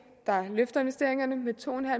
der løfter investeringerne med to